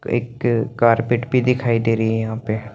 एक कारपेट भी दिखाई देरी हे यहाँ पे --